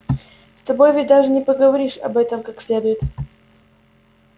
с тобой ведь даже не поговоришь об этом как следует